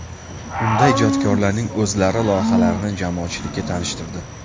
Unda ijodkorlarning o‘zlari loyihalarini jamoatchilikka tanishtirdi.